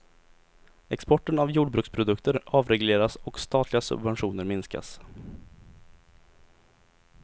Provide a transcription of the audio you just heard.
Exporten av jordbruksprodukter avregleras och statliga subventioner minskas.